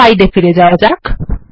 slide এ ফিরে যাওয়া যাক